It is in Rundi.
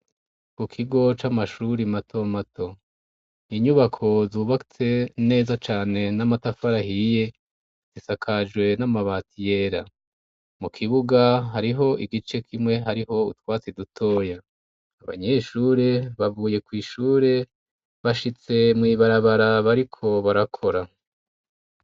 Ku kigo c'amashuri mato mato, inyubako zubatse neza cane n'amatafari ahiye, zisakajwe n'amabati yera. Mu kibuga, hariho igice kimwe hariho utwatsi dutoya. Abanyeshure bavuye kw'ishure bashitse mw'ibarabara bariko barakora.